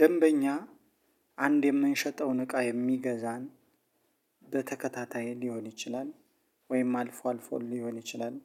ደንበኛ አንድ የምንሸጠውን እቃ የሚገዛን በተከታታይ ሊሆን ይችላል ወይም አልፎ አልፎ ሊሆን ይችላል